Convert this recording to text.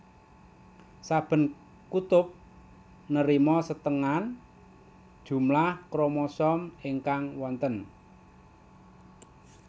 Saben kutub nerima setengan jumlah kromosom ingkang wonten